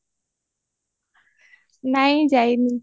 ନାଇଁ ଯାଇନି